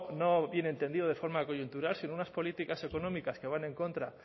no bien entendido de forma coyuntural sino unas políticas económicas que van en contra